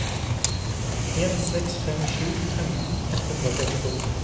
en seks fem sju femten ett hundre og trettito